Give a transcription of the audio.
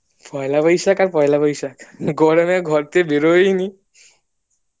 পয়লা বৈশাখ আর পয়লা বৈশাখ গরমে ঘর থেকে বের হয়নি